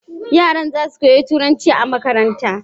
Yaran zasu koyi turanci a makaranta